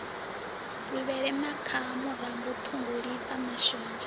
luvhele makhaha murambo ṱhungulifha mashonzha